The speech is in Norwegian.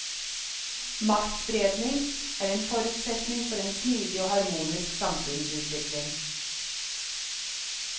Maktspredning er en forutsetning for en smidig og harmonisk samfunnsutvikling.